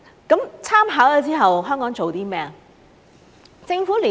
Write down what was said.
在參考後，香港做些甚麼？